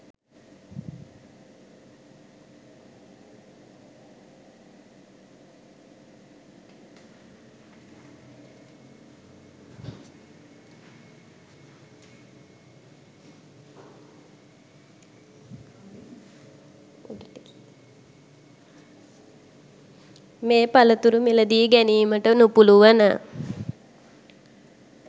මේ පළතුරු මිල දී ගැනීමට නුපුළුවන